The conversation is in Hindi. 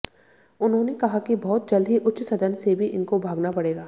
उन्होंने कहा कि बहुत जल्द ही उच्च सदन से भी इनको भागना पड़ेगा